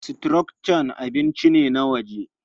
Croissant abinci ne na waje.